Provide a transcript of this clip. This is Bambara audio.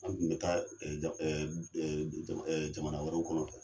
An tun bɛ taa jamana wɛrɛw kɔnɔ.